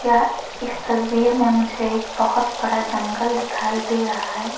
यह इस तस्वीर में मुझे एक बहुत बड़ा जंगल दिखाई दे रहा है।